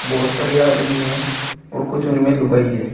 बहुत सारे आदमी हैं और कुछ उनमें लुगाई है।